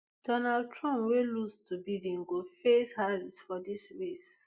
donald trump wey lose to biden go face harris for dis race